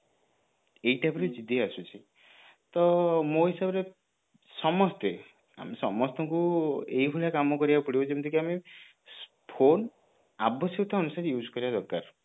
ଏଇ type ର ଜିଦି ଆସୁଛି ତ ମୋ ହିସାବରେ ସମସ୍ତେ ଆମ ସମସ୍ତଙ୍କୁ ଏଇ ଭଳିଆ କାମ କରିବାକୁ ପଡିବ ଯେମିତି କି ଆମେ phone ଆବଶ୍ୟକତା ଅନୁସାରେ use କରିବା ଦରକାର